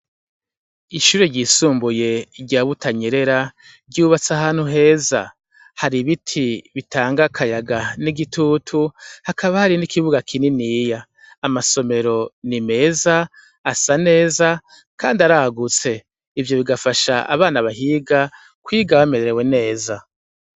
ishure ryisumbuye rya Butanyerera ryubatse ahanu heza hari ibiti bitanga kayaga n'igitutu hakaba hari n'ikibuga kininiiya amasomero ni meza asa neza kandi aragutse ivyo bigafasha abana bahiga kwiga bamerewe neza.